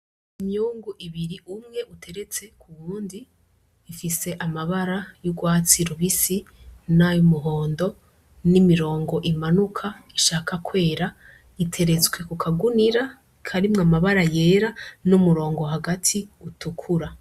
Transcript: Imyungu ibiri umwe uteretse kuwundi ifise amabara y'urwatsi rubisi, nay'umuhondo, n'imirongo imanuka Ishaka kwera, iteretswe kukagunira karimwo amabara yera n'umurongo hagati utukura.